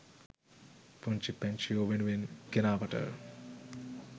පුංචි පැංචියෝ වෙනුවෙන් ගෙනාවට.